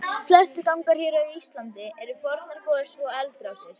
Flestir gangar hér á landi eru fornar gos- eða eldrásir.